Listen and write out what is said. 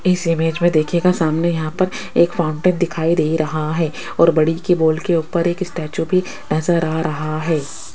इस इमेज में देखिएगा सामने यहां पर एक फाउंटेन दिखाई दे रहा है और बड़ी की बॉल के ऊपर एक स्टैचू भी नजर आ रहा है।